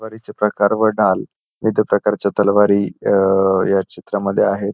तलवारीचे प्रकार व ढाल विविध प्रकारच्या तलवारी ह्या चित्रामध्ये आहेत.